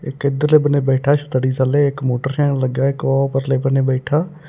ਇਕ ਇਧਰਲੇ ਬੰਨੇ ਬੈਠਾ ਛਤਰੀ ਥੱਲੇ ਇੱਕ ਮੋਟਰਸਾਇਣ ਲੱਗਾ ਇਕ ਉਹ ਪਰਲੇ ਬੰਨੇ ਬੈਠਾ।